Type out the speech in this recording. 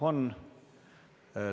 Jah, on.